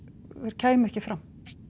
kæmu ekki fram